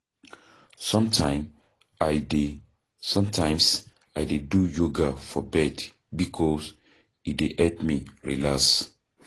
Sometimes I dey Sometimes I dey do yoga for bed bikos e dey help me relax.